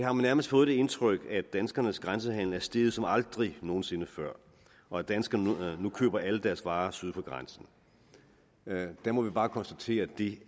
har man nærmest fået det indtryk at danskernes grænsehandel er steget som aldrig nogen sinde før og at danskerne nu køber alle deres varer syd for grænsen der må vi bare konstatere at det